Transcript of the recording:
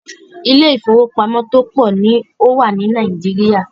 Ilé ìfọwọ́pamo tó pọ̀ ní o wà ní Nàìjíríà.